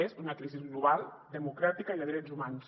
és una crisi global democràtica i de drets humans